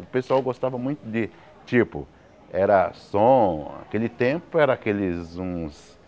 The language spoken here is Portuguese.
O pessoal gostava muito de, tipo, era som, aquele tempo era aqueles uns,